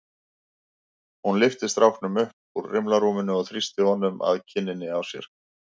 Hún lyfti stráknum upp úr rimlarúminu og þrýsti honum að kinninni á sér.